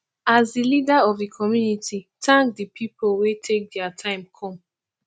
as di leader of di community thank di pipo wey take their time come